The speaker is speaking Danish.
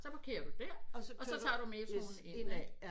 Så parkerer du der og så tager du metroen ind af